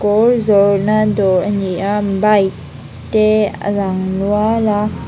zawrhna dawr a ni a bike te a lang nual a.